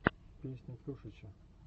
песня тушича